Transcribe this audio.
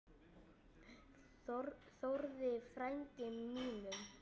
Þórði frænda mínum!